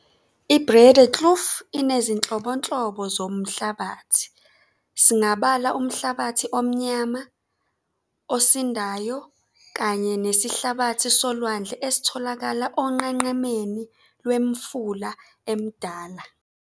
iBreedekloof inezinhlobonhlobo zomuhlabathi, singabala umhlabathi omnyama osindayo kanye nesihlabathi solwandle esitholakala onqenqemeni lwemifula emidala.